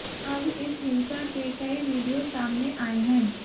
अब इस हिंसा के कई वीडियो सामने आए हैं